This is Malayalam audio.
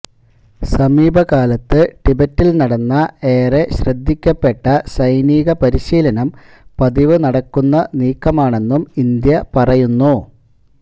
സമീപകാലത്ത് ടിബെറ്റിൽ നടന്ന ഏറെ ശ്രദ്ധിക്കപ്പെട്ട സൈനിക പരിശീലനം പതിവ് നടക്കുന്ന നീക്കമാണെന്നും ഇന്ത്യ പറയുന്നു